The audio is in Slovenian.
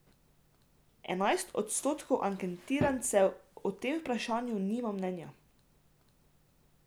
Enajst odstotkov anketirancev o tem vprašanju nima mnenja.